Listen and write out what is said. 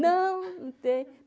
Não, não tem.